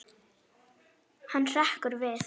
Hann hrekkur við.